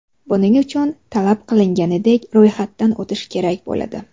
Buning uchun, talab qilinganidek ro‘yxatdan o‘tish kerak bo‘ladi.